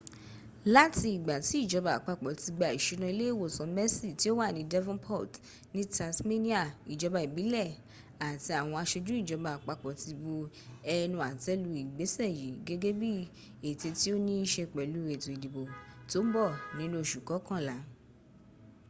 láti ìgbà tí ìjọba àpapọ̀ ti gba ìsúná ilé ìwòsàn mersey tí ó wà ní devonport ní tasmania ìjọba ìbílẹ̀ àti àwọn aṣojú ìjọbá àpapọ̀ ti bu ẹnu àtẹ́ lu ìgbésẹ̀ yìí gẹ́gẹ́ bí ètè tí ó ní í ṣe pẹlú ètò ìdìbò tó ń bọ̀ ní oṣù kọkànlá